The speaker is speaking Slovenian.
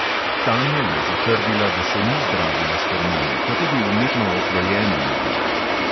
Tanja je zatrdila, da se ni zdravila s hormoni, pa tudi umetno oplojena ni bila.